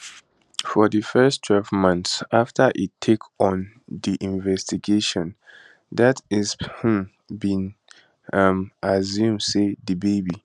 for di first twelve months afta e take on di investigation det insp humm bin um assume say di baby